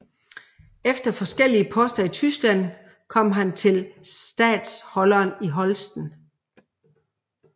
Efter forskellige poster i Tyskland kom han til statholderen i Holsten